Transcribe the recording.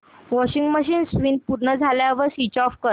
washing machine spin पूर्ण झाल्यावर switch off कर